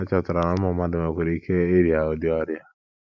Ha chọpụtara na ụmụ mmadụ nwekwara ike irịa ụdị ọrịa.